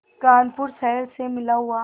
कानपुर शहर से मिला हुआ